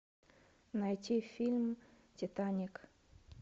найти фильм титаник